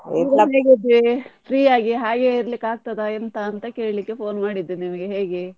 Free ಆಗಿ ಹಾಗೆ ಇರ್ಲಿಕ್ಕೆ ಆಗ್ತದ ಎಂತ ಅಂತ ಕೇಳ್ಲಿಕ್ಕೆ phone ಮಾಡಿದ್ದು ನಿಮ್ಗೆ ಹೇಗೆ?